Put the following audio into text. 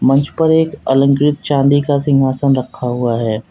मंच पर एक अलंकृत चांदी का सिंहासन रखा हुआ है।